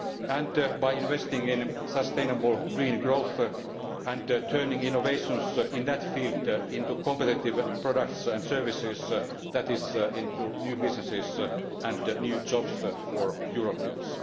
and by investing in sustainable green growth and turning innovations in that field into competitive products and services that is, into new businesses and new jobs for Europeans